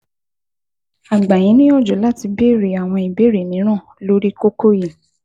A gbà yín níyanjú láti béèrè àwọn ìbéèrè mìíràn lórí kókó yìí